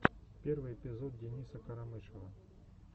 первый эпизод дениса карамышева